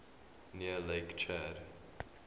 near lake chad